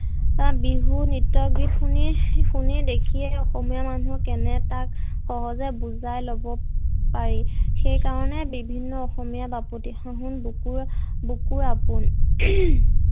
বিহু নৃত্য গীত শুনি শুনি দেখিয়ে অসমীয়া মানুহৰ কেনে এটা সহজে বুজাই লব পাৰি। সেইকাৰণে বিভিন্ন অসমীয়া বাপতি সাহোন বুকুৰ বুকুৰ আপোন